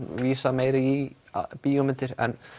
vísa meira í bíómyndir en